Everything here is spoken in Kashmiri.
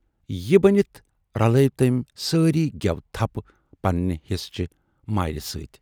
" یہِ ؤنِتھ رلٲوۍ تٔمۍ سٲرے گٮ۪وٕ تھپَھ پننہِ حِصہٕ چہِ مایرِ سۭتۍ۔